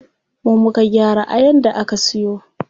Mu muka gyara ayan da aka siyo.